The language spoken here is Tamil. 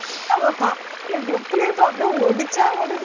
அவ college ல எப்படி இருப்பா அப்படியே ஒடிச்சா ஒடிச்சி